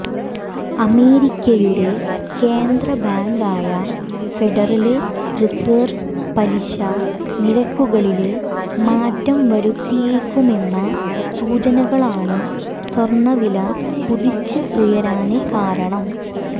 അമേരിക്കയുടെ കേന്ദ്ര ബാങ്കായ ഫെഡറല് റിസര്വ് പലിശ നിരക്കുകളില് മാറ്റം വരുത്തിയേക്കുമെന്ന സൂചനകളാണ് സ്വര്ണ വില കുതിച്ച് ഉയരാന് കാരണം